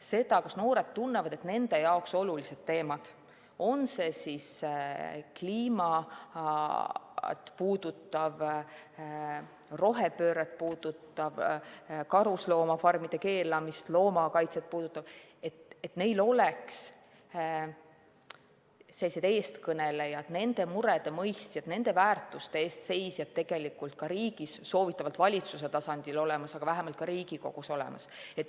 Seda, kas noored tunnevad, et nende jaoks olulistes teemades – on see siis kliimat puudutav, rohepööret puudutav, karusloomafarmide keelamist ja loomakaitset puudutav – on neil olemas eestkõnelejad, nende murede mõistjad, nende väärtuste eest seisjad ka riigi, soovitatavalt valitsuse tasandil või vähemalt Riigikogus.